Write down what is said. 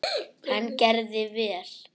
Hann gerði vel.